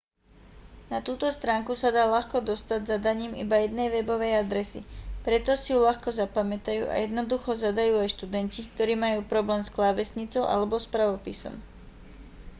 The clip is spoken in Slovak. na túto stránku sa dá ľahko dostať zadaním iba jednej webovej adresy preto si ju ľahko zapamätajú a jednoducho zadajú aj študenti ktorí majú problém s klávesnicou alebo s pravopisom